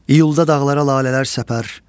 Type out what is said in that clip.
İyulda dağlara lalələr səpər.